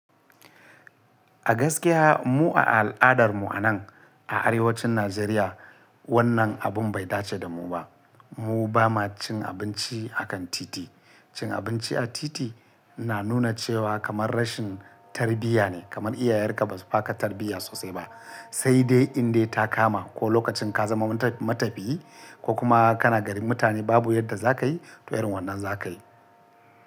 A gaskiya mu a al'adar mu a nan a arewacin Najeriya wannan abun bai dace da mu ba. Mu ba ma cin abinci a kan titi. Cin abinci a titi na nuna cewa kamar rashin tarbiyya ne, kamar iyayenka ba su ba ka tarbiyya sosai ba, sai dai in dai ta kama ko lokacin ka zama matafiyi ko kuma kana garin mutane babu yadda za ka yi, to irin wannan za ka yi.